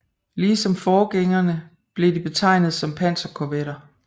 Lige som forgængerne blev de betegnet som panserkorvetter